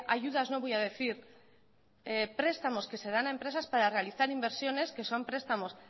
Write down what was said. ayudas no voy a decir prestamos que se dan a empresas para realizar inversiones que son prestamos